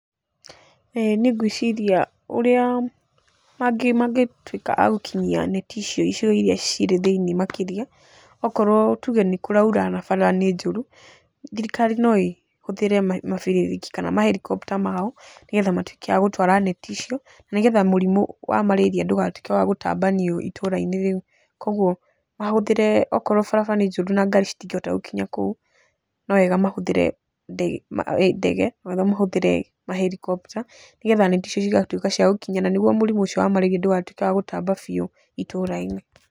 Niĩ ngwĩciria ũrĩa mangĩtuĩka a gũkinyia neti icio icigo iria cirĩ thĩ-inĩ makĩria, okorwo tuge nĩ kũraura na bara nĩ njoru, thirikari no ĩtũmĩre mabĩrĩrĩki kana ma helicopter mao nĩgetha matikae gũtwara neti icio, nĩgetha mũrimũ wa mararia ndũgatuĩke wa gũtambanio itũra-inĩ rĩu, kũguo mahũthĩre, okorwo barabara nĩ njoru na ngari citingĩhota gũkinya kou, no wega mahũthĩre ndege kana mahũthĩre ma helicopter nĩgetha neti icio cigatuĩka cia gũkinya na nĩguo mũrimũ ũcio wa mararia ndũgatuĩke wa gũtamba biũ itũra-inĩ.